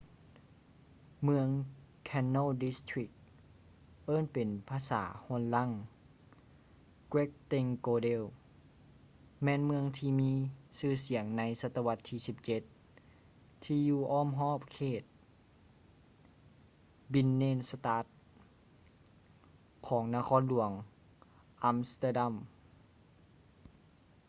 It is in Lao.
ເມືອງ canal district ເອີ້ນເປັນພາສາໂຮນລັງ: grachtengordel ແມ່ນເມືອງທີ່ມີຊື່ສຽງໃນສັດຕະວັດທີ 17 ທີ່ຢູ່ອ້ອມຮອບເຂດ ບິນເນນສະຕາດ binnenstad ຂອງນະຄອນຫຼວງ ອຳສະເຕີດຳ